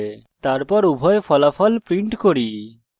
তারপর উভয় ফলাফল print করি